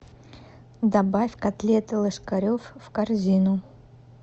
добавь котлеты ложкаревъ в корзину